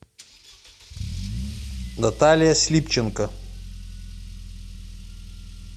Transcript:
наталья слипченко